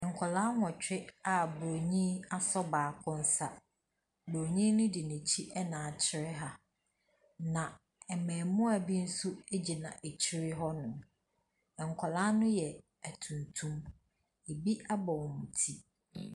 Nkwadaa nwɔtwe a buroni asɔ baako nsa. Buroni no de n'akyi na akyerɛ ha, na mmaamua bi nso gyina akyire hɔnom. Nkwadaa no yɛ atuntum. Ebi abɔ wɔn ti.